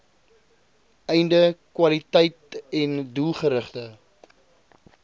einde kwaliteiten doelgerigte